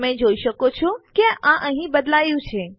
તમે જોઈ શકો છો કે આ અહીં બદલાયું છે